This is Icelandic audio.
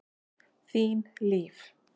Þín Líf.